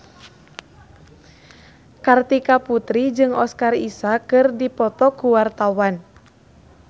Kartika Putri jeung Oscar Isaac keur dipoto ku wartawan